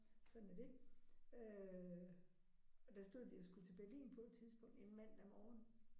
Sådan er det øh og der stod vi og skulle til Berlin på et tidspunkt en mandag morgen